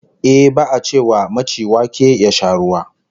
Ehh, ba'a ce wa maci wake ya sha ruwa